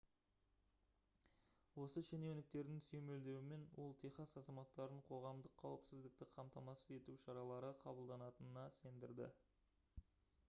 осы шенеуніктердің сүйемелдеуімен ол техас азаматтарын қоғамдық қауіпсіздікті қамтамасыз ету шаралары қабылданатынына сендірді